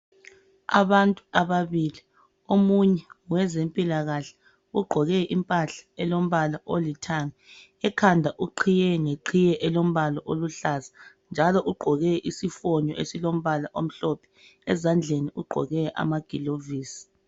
Abantu ababili, omunye ngowezempilakahle ugqoke impahla elombala olithanga ekhanda uqhiye ngeqhiye elombala oluhlaza njalo ugqoke isifonyo esilombala omhlophe ezandleni ugqoke amagilovisi.